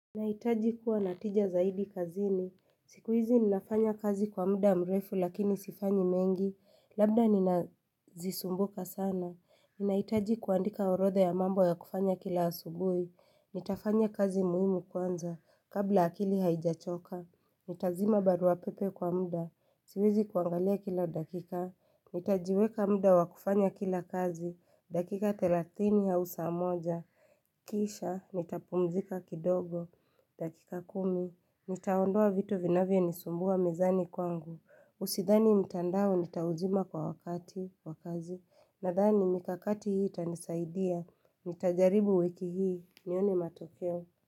Naitaji kuwa na tija zaidi kazini. Siku hizi ninafanya kazi kwa muda mrefu lakini sifanyi mengi. Labda nina zisumbuka sana. Naitaji kuandika orotha ya mambo ya kufanya kila asubui. Nitafanya kazi muhimu kwanza. Kabla akili haijachoka. Nitazima barua pepe kwa muda, siwezi kuangalia kila dakika Nitajiweka muda wa kufanya kila kazi, dakika thelatini au saa moja Kisha, nitapumzika kidogo, dakika kumi Nitaondoa vitu vinavyo nisumbua mezani kwangu Usidhani mitandao nitauzima kwa wakati, wa kazi Nadhani mikakati hii itanisaidia, nitajaribu wiki hii, nione matokeo.